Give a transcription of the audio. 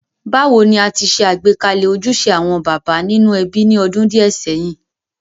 Bàwoni a ti se àgbékalẹ̀ ojúse àwon bàbá nínú ebí ni odún díẹ̀ séyìn.?